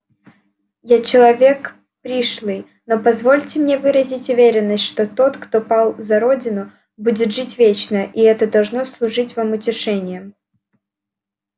я человек пришлый но позвольте мне выразить уверенность что тот кто пал за родину будет жить вечно и это должно служить вам утешением